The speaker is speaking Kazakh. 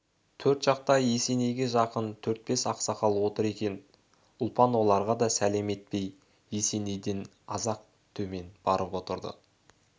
төр жақта есенейге жақын төрт-бес ақсақал отыр екен ұлпан оларға да сәлем етпей есенейден аз-ақ темен барып отырды